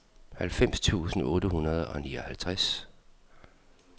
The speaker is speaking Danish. halvfems tusind otte hundrede og nioghalvtreds